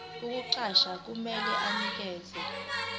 ukukuqasha kumele anikeze